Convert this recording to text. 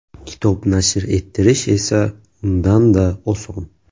Kitob nashr ettirish esa undan-da oson.